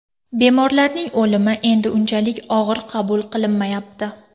Bemorlarning o‘limi endi unchalik og‘ir qabul qilinmayapti.